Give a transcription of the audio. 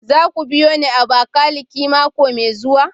Za ku biyo ni Abakiliki mako mai zuwa?